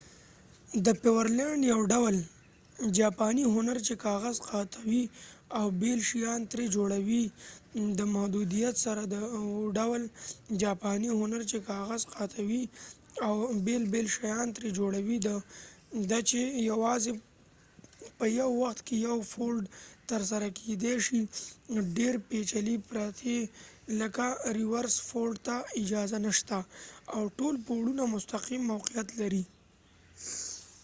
د پيورلینډ یو ډول جاپانی هنر چې کاغذ قاتوي او بېل شیان ترې جوړوي د محدودیت سره و ډول جاپانی هنر چې کاغذ قاتوي او بېل بېل شیان ترې جوړوي ده چې یوازې په یو وخت کې یو فولډ ترسره کیدی شي ډیر پیچلي پرتې لکه ریورس فولډ ته اجازه نشته او ټول پوړونه مستقیم موقعیت لري